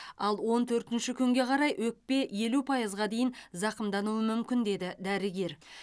ал он төртінші күнге қарай өкпе елу пайызға дейін зақымдануы мүмкін деді дәрігер